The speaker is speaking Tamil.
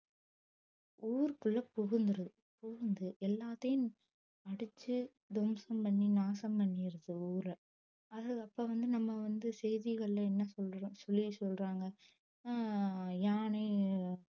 ஊருக்குள்ள புகுந்துரும் புகுந்து எல்லாத்தையும் அடிச்சு துவம்சம் பண்ணி நாசம் பண்ணிறது ஊரை அது அப்ப வந்து நம்ம வந்து செய்திகள்ல என்ன சொல்றோம் சொல்லி சொல்றாங்க ஆஹ் யானை